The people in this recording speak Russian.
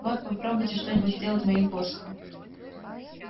вот попробуйте что-нибудь сделать моим посохом